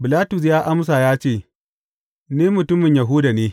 Bilatus ya amsa ya ce, Ni mutumin Yahuda ne?